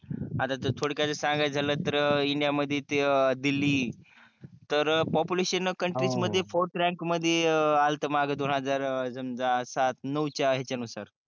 आता ठोळक्यात सांगायच झाल त इंडिया मध्ये दिल्ली तर पोपुलेशन कंट्रीज मध्ये फोर्थ रॅंक मध्ये आल्त दोन हजार अं समजा सात नहुच्या ह्याच्या नुसार